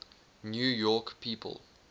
new york people